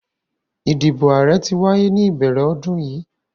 Idibo aarẹ ti waye ni ibẹrẹ ọdun yii